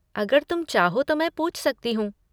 अगर तुम चाहो तो मैं पूछ सकती हूँ।